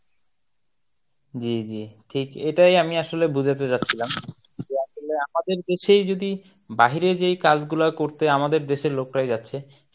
জী জী ঠিক এটাই আমি আসলে বুঝাতে চাচ্ছিলাম যে আসলে আমাদের দেশেই যদি বাহিরে যে কাজগুলো করতে আমাদের দেশের লোকরাই যাচ্ছে